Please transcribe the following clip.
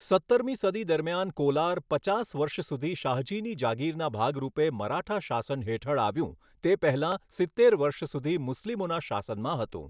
સત્તરમી સદી દરમિયાન કોલાર પચાસ વર્ષ સુધી શાહજીની જાગીરના ભાગરૂપે મરાઠા શાસન હેઠળ આવ્યું તે પહેલા સિત્તેર વર્ષ સુધી મુસ્લિમોના શાસનમાં હતું.